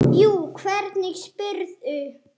Jú, hvernig spyrðu.